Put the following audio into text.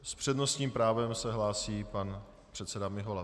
S přednostním právem se hlásí pan předseda Mihola.